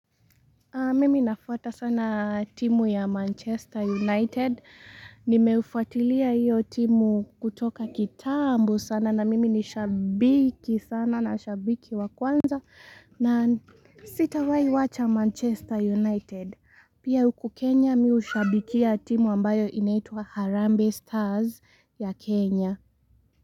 Mimi nafuata sana timu ya Manchester United Nimeufuatilia hiyo timu kutoka kitambo sana na mimi ni shabiki sana na shabiki wakwanza na sitawai wacha Manchester United Pia huku Kenya mi hushabikia timu ambayo inaitwa Harambee Stars ya Kenya.